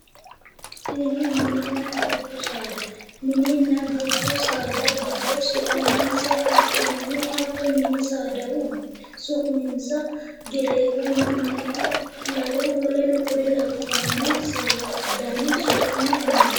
Tini mininna dubbu saada mininna dubbu saada giddo su'muwanisa ikkinohu hatto mini saadahu su'minisa geteewonna me"e lalo woleno kinne labbano su'mu dani noonisa